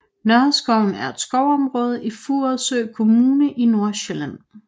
Nørreskoven er et skovområde i Furesø Kommune i Nordsjælland